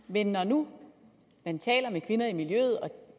men når nu man taler med kvinder i miljøet og